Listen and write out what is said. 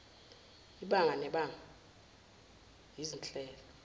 ibanga nebanga izinhlelo